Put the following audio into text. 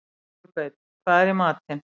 Kolbeinn, hvað er í matinn?